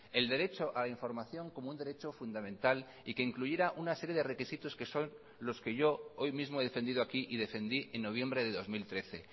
el derecho a la información como un derecho fundamental y que incluyera una serie de requisitos que son los que yo hoy mismo he defendido aquí y defendí en noviembre de dos mil trece